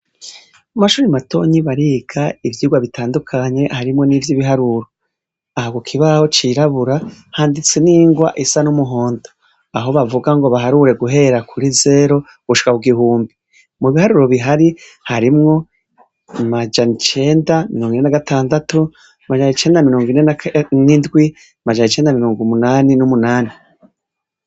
Mumashure matonyi bariga ivyirwa bitandukanye harimwo nivyibiharuro aho kukibaho cirabura handitse nirwa risa numuhondo aho bavuga ngo baharure guhera kuri zero gushika kugihumbi mubiharuro bihari harimwo amajana icenda na mirongo ine na gatandatu majana icenda na mirongo ine nindwi majana icenda na mirongo umunani numunani